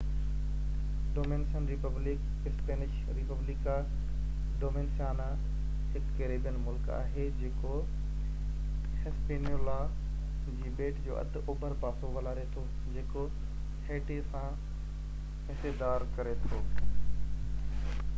Dominican Republic Spanish: Republica Dominicana هڪ Caribbean ملڪ آهي جيڪو هسپينيولا جي ٻيٽ جو اڌ اوڀر پاسو ولاري ٿو، جيڪو هيٽي سان حصيداري ڪري ٿو